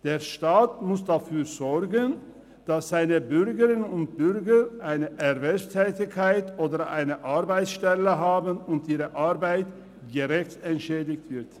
Der Staat muss dafür sorgen, dass seine Bürgerinnen und Bürger eine Erwerbstätigkeit oder eine Arbeitsstelle haben und ihre Arbeit gerecht entschädigt wird.